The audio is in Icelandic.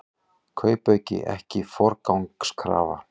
Kaupauki ekki forgangskrafa